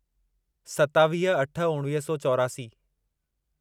सतावीह अठ उणिवीह सौ चोरासी